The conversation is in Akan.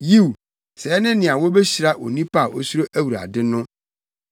Yiw, sɛɛ ne nea wobehyira onipa a osuro Awurade no.